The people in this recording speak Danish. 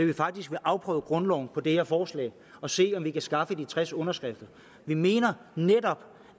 vi faktisk vil afprøve grundloven med det her forslag og se om vi kan skaffe de tres underskrifter vi mener netop